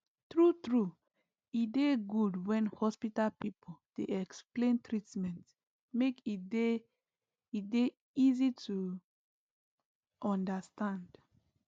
true true e dey good when hospital people dey explain treatment make e dey e dey easy to understand